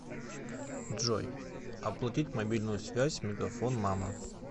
джой оплатить мобильную связь мегафон мама